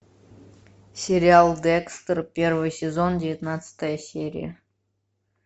сериал декстер первый сезон девятнадцатая серия